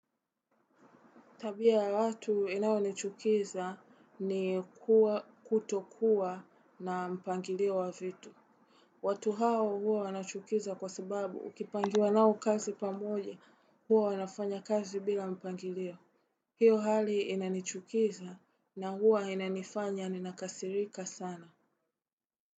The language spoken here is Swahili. Tabi ya watu inayo nichukiza ni kutokuwa na mpangilio wa vitu. Watu hao huwa wanachukiza kwa sababu ukipangiwa nao kazi pamoja huwa wanafanya kazi bila mpangilio. Hiyo hali inanichukiza na huwa inanifanya ni nakasirika sana.